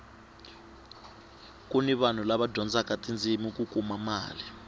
kuni vanhu lava dyindaka tindzimi ku kuma mali